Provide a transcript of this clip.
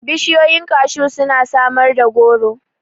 Bishiyoyin kashu suna samar da goro.